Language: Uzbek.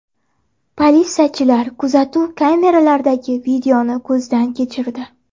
Politsiyachilar kuzatuv kameralaridagi videoni ko‘zdan kechirdi.